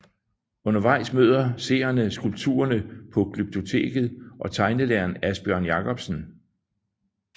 Undervejs møder seerne skulpturerne på Glyptoteket og tegnelæreren Asbjørn Jakobsen